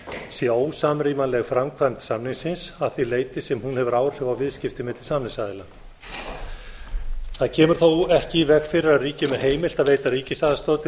sé ósamrýmanleg framkvæmd samningsins að því leyti sem hún hefur áhrif á viðskipti milli samningsaðila það kemur þó ekki í veg fyrir að ríkjum er heimilt að veita ríkisaðstoð til